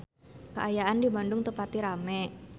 Kaayaan di Bandung teu pati rame